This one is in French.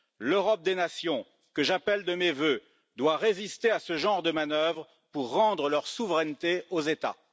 L'Europe des nations, que j'appelle de mes vœux, doit résister à ce genre de manœuvre pour rendre leur souveraineté aux États.